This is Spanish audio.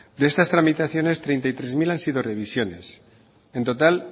de estas tramitaciones treinta y tres mil han sido revisiones en total